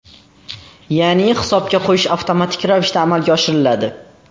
Ya’ni hisobga qo‘yish avtomatik ravishda amalga oshiriladi.